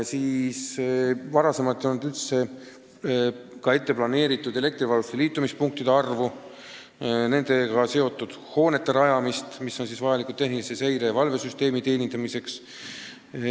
Varem ei olnud üldse arvestatud elektrivarustuse liitumispunktide arvu ja nendega seotud hoonete rajamist, mis on vajalikud tehnilise seire- ja valvesüsteemi töös hoidmiseks.